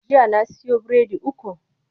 Jiya na siyo biredi uku.